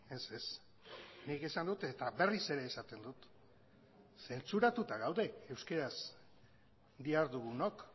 ez ez nik esan dut eta berriz ere esaten dut zentsuratuta gaude euskaraz dihardugunok